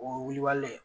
O ye wulibali le ye